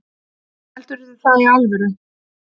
Heldurðu það í alvöru?